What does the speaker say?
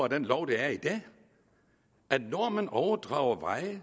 den lov der i dag at når man overdrager veje